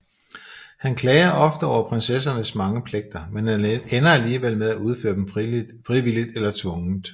Han klager ofte over prinsessernes mange pligter men ender alligevel med at udføre dem frivilligt eller tvungent